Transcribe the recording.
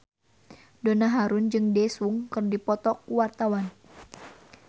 Donna Harun jeung Daesung keur dipoto ku wartawan